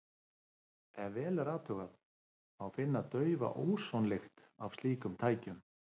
Ef vel er athugað, má finna daufa ósonlykt af slíkum tækjum.